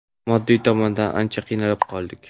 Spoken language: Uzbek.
Moddiy tomondan ancha qiynalib qoldik.